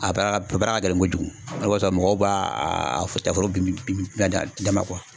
A baara ka gɛlɛn kojugu, o de kosɔn, mɔgɔw b'a foro bin bin a dama